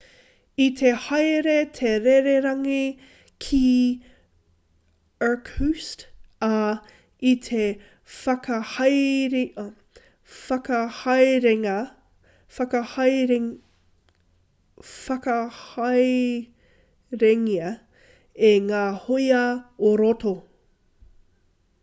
i te haere te rererangi ki irkutsk ā i te whakahaerengia e ngā hōia ō-roto